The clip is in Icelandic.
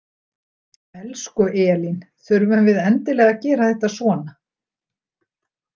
Elsku Elín, þurfum við endilega að gera þetta svona?